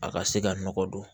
A ka se ka nɔgɔ don